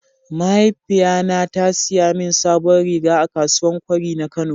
mahaifiya na ta siya min sabon riga a kasuwan kwari na kano.